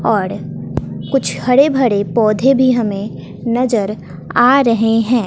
और कुछ हरे भरे पौधे भी हमें नजर आ रहे हैं।